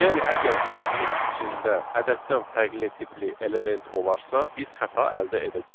Yəni əgər siyahının içində ədəddən fərqli tipli element olarsa, biz xəta əldə edəcəyik.